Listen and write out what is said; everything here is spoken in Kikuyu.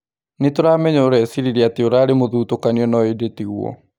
Nĩtũramenya ũreciririe atĩ ũrarĩ mũthutũkanio no ĩndĩ tiguo.